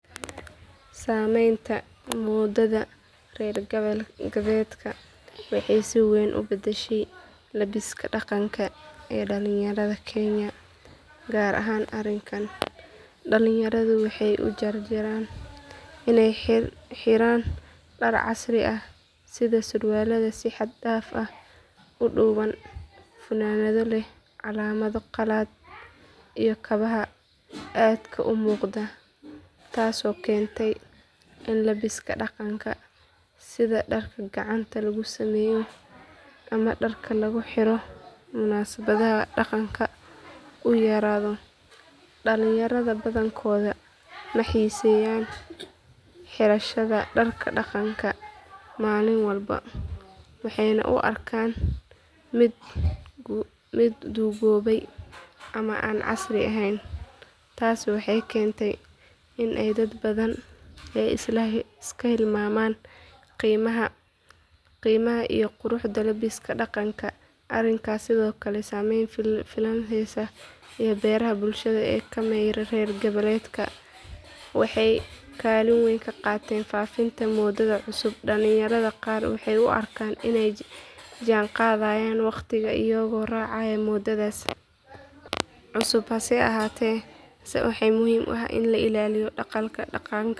Saamaynta moodada reer galbeedka waxay si weyn u beddeshay labbiska dhaqanka ee dhallinyarada kenya gaar ahaan arikaanka dhalinyaradu waxay u janjeeraan inay xiraan dhar casri ah sida surwaalada si xad dhaaf ah u dhuuban funaanado leh calaamado qalaad iyo kabaha aadka u muuqda taasoo keentay in labbiska dhaqanka sida dharka gacanta lagu sameeyo ama dharka lagu xiro munaasabadaha dhaqanka uu yaraado dhalinyarada badankoodu ma xiiseeyaan xirashada dharka dhaqanka maalin walba waxayna u arkaan mid duugoobay ama aan casri ahayn taasi waxay keentay in dad badan ay iska hilmaamaan qiimaha iyo quruxda labbiska dhaqanka arikaanka sidoo kale saameynta filimada heesaha iyo baraha bulshada ee ka imanaya reer galbeedka waxay kaalin weyn ka qaateen faafinta moodada cusub dhallinyarada qaar waxay u arkaan inay la jaanqaadayaan waqtiga iyagoo raacaya moodadaas cusub hase yeeshee waxaa muhiim ah in la ilaaliyo dhaxalka dhaqanka.